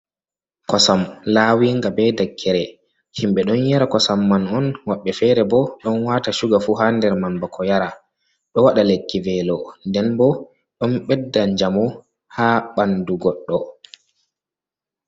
Kosam lawinga be dakkere himɓe ɗon yara kosam man on woɓɓe fere bo ɗon wata shuga fu ha nder man bako yara. Ɗo waɗa lekki velo, nden bo ɗon ɓedda njamu ha ɓandu goɗɗo.